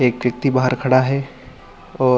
एक व्यक्ति बाहर खड़ा हैं और--